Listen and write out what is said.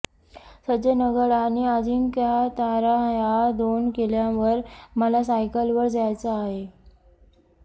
सज्जनगड आणि अजिंक्यतारा ह्या दोन किल्ल्यांवर मला सायकलवर जायचं आहे